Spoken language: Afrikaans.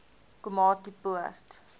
komatipoort